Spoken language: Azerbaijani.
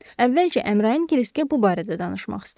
Əvvəlcə Əmrayin Kriskə bu barədə danışmaq istədi.